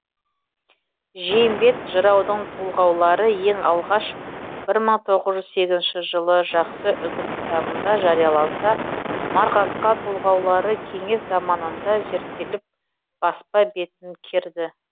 жиембет жыраудың толғаулары ең алғаш бір мың тоғыз жүз сегізінші жылы жақсы үгіт кітабында жарияланса марғасқа толғаулары кеңес заманында зерттеліп баспа бетін керді